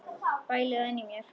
Bæli það inni í mér.